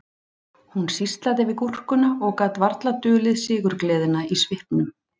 Hún sýslaði við gúrkuna og gat varla dulið sigurgleðina í svipnum